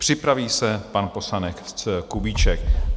Připraví se pan poslanec Kubíček.